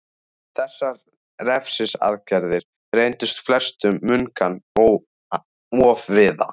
Þessar refsiaðgerðir reyndust flestum munkanna ofviða.